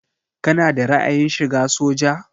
Kana da ra'ayin shiga soja?